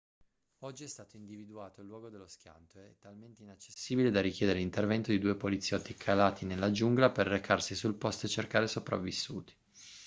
oggi è stato individuato il luogo dello schianto è talmente inaccessibile da richiedere l'intervento di due poliziotti calati nella giungla per recarsi sul posto e cercare sopravvissuti